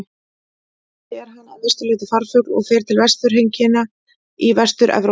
Hér á landi er hann að mestu leyti farfugl og fer til vetrarheimkynna í Vestur-Evrópu.